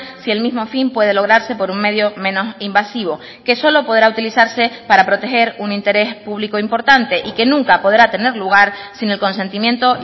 si el mismo fin puede lograrse por un medio menos invasivo que solo podrá utilizarse para proteger un interés público importante y que nunca podrá tener lugar sin el consentimiento